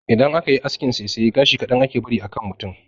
Idan aka yi askin saisaya, gashi kaɗan ake bari a kan mutum.